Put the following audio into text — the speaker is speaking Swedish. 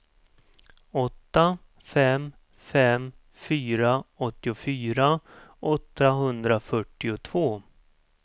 åtta fem fem fyra åttiofyra åttahundrafyrtiotvå